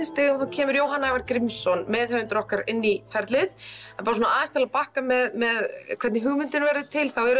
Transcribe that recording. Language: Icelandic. stigum kemur Jóhann Ævar Grímsson meðhöfundur okkar inn í ferlið til að bakka með hvernig hugmyndin verður til þá er